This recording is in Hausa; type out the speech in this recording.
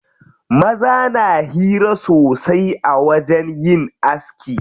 Maza na hira sosai a wajen yin aski.